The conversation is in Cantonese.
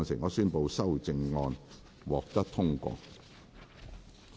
我宣布修正案獲得通過。